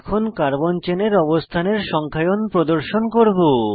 এখন কার্বন চেনের অবস্থানের সংখ্যায়ন প্রদর্শন করব